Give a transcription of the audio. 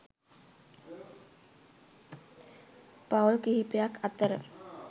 පවුල් කිහිපයක් අතර